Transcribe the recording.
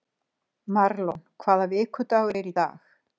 Marlon, hvaða vikudagur er í dag?